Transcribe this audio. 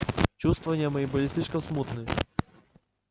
чувствования мои были слишком смутными